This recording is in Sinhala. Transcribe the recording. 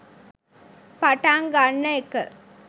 පටන් ගන්න එක.